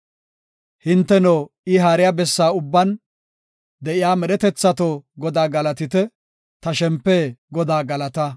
Hinteno, I haariya bessa ubban, de7iya medhetethato, Godaa galatite! Ta shempe Godaa galata!